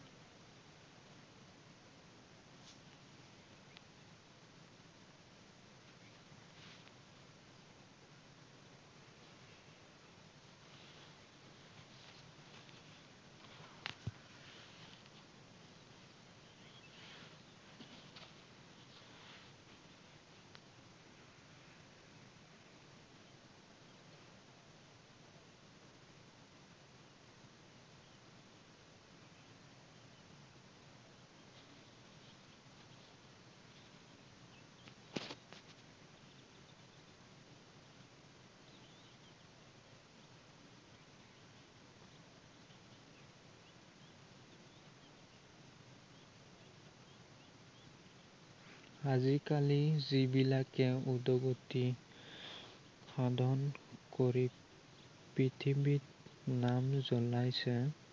আজি কালি যিবিলাকে উদ্গতি সাধন কৰি পৃথিৱীত নাম উজ্বলাইছে।